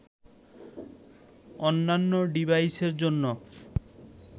অন্যান্য ডিভাইসের জন্য